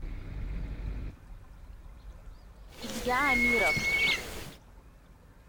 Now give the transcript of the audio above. илья амиров